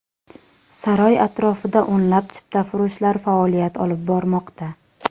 Saroy atrofida o‘nlab chiptafurushlar faoliyat olib bormoqda.